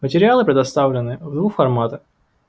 материалы предоставлены в двух форматах